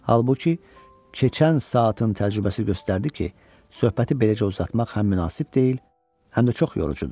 Halbuki, keçən saatın təcrübəsi göstərdi ki, söhbəti beləcə uzatmaq həm münasib deyil, həm də çox yorucudur.